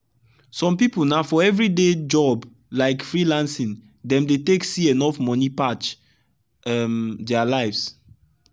some people na for every day job like free lancing dem dey take see enough money patch um dia lives